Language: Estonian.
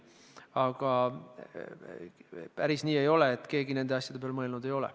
Aga päris nii ei ole, et keegi nende asjade peale mõelnud ei ole.